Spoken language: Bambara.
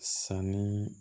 Sanni